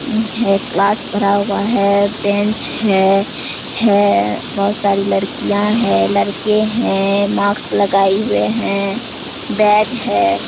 यह क्लास भरा हुआ है। बेंच है है। बहुत सारी लड़कियाँ है लड़के हैं मास्क लगाए हुए हैं बेड है।